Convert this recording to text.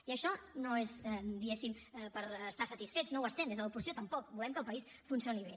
i això no és diguéssim per estar satisfets no ho estem des de l’oposició tampoc volem que el país funcioni bé